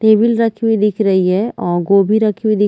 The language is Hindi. टेबिल रखी हुई दिख रही है अ गोभी रखी हुई दिख--